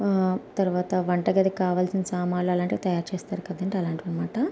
ఆ తరువాత వంట గదికి కావాల్సిన సామానులు అలాంటివి తయారుచేస్తారు కదండీ అలాంటివి అని మాట --